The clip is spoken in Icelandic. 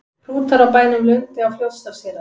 Hrútar á bænum Lundi á Fljótsdalshéraði.